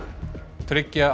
tryggja á